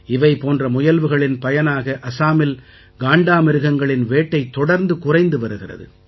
இவை போன்ற முயல்வுகளின் பயனாக அசாமில் காண்டாமிருகங்களின் வேட்டை தொடர்ந்து குறைந்து வருகிறது